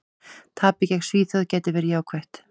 Tapið gegn Svíþjóð gæti verið jákvætt.